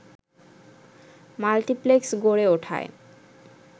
multiplex গড়ে ওঠায়